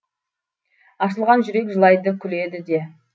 ашылған жүрек жылайды күледі де